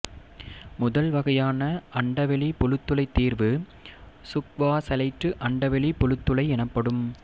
முதல் வகையான அண்டவெளி புழுத்துளை தீர்வு சுக்வாசைல்ட்டு அண்டவெளி புழுத்துளை எனப்படும்